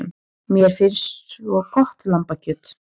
Mér finnst svo gott lambakjöt.